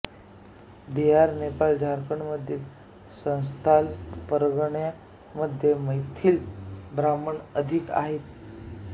बिहार नेपाळ झारखंडमधील संथाल परगणा मध्ये मैथिल ब्राह्मण अधिक आहेत